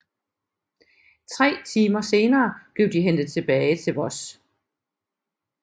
Tre timer senere blev de hentet tilbage til Voss